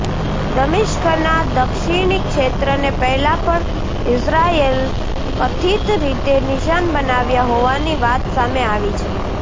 દમિશ્કના દક્ષિણી ક્ષેત્રને પહેલા પણ ઈઝરાયલે કથિત રીતે નિશાન બનાવ્યા હોવાની વાત સામે આવી છે